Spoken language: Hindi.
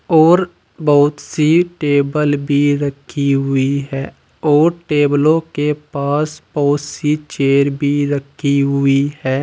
और बहोत सी टेबल भी रखी हुई है और टेबलों के पास बहोत सी चेयर भी रखी हुई है।